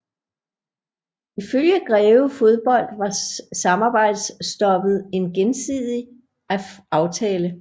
Ifølge Greve Fodbold var samarbejdsstoppet en gensidig aftale